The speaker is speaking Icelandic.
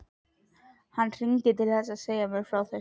Hann hringdi til að segja mér frá þessu.